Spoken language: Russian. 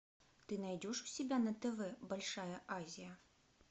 ты найдешь у себя на тв большая азия